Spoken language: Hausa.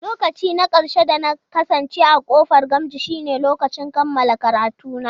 Lokaci na ƙarshe da na kasance a ƙofar Gamji shine lokacin kammala karatuna.